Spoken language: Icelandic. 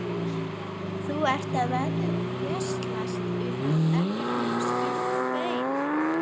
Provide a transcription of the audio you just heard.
Þú ert að veslast upp, ekkert nema skinn og bein.